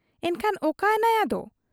ᱮᱱᱠᱷᱟᱱ ᱚᱠᱟᱭᱮᱱᱟᱭ ᱟᱫᱚ ?